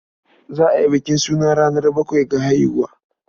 Za a yi bukin suna ranar bakwai da haihuwa.